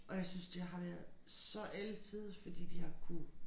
Og jeg synes det har været så alle tiders fordi de har kunnet